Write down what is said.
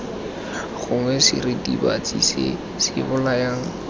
gongwe seritibatsi se se bolayang